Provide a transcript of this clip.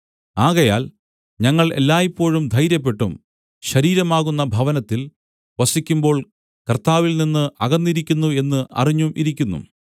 ആകയാൽ ഞങ്ങൾ എല്ലായ്പോഴും ധൈര്യപ്പെട്ടും ശരീരമാകുന്ന ഭവനത്തിൽ വസിക്കുമ്പോൾ കർത്താവിൽനിന്ന് അകന്നിരിക്കുന്നു എന്ന് അറിഞ്ഞും ഇരിക്കുന്നു